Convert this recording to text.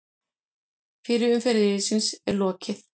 Fyrri umferð riðilsins er lokið